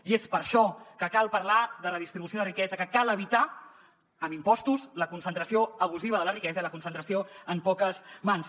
i és per això que cal parlar de redistribució de riquesa que cal evitar amb impostos la concentració abusiva de la riquesa i la concentració en poques mans